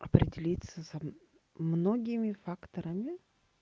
определиться за многими факторами